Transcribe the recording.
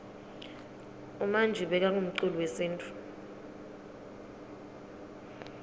umanji bekangumculi wesintfu